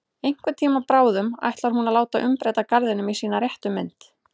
Einhvern tíma bráðum ætlar hún að láta umbreyta garðinum í sína réttu mynd.